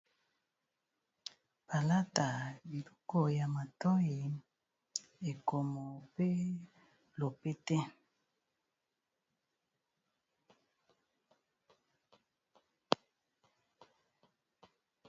Palata biloko ya matoyi ekomo pe lopete.